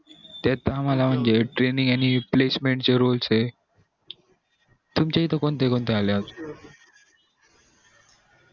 त्यात आम्हला म्हणजे training placement चे role ये तुमच्या इथे कोणते कोणते आले अजून